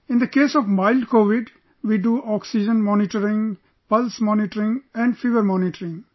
In the case of mild Covid, we do oxygen monitoring, pulse monitoring and fever monitoring